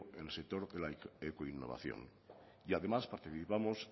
en el sector de la ecoinnovación y además participamos